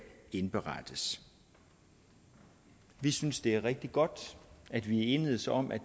indberettes vi synes det er rigtig godt at vi er enedes om at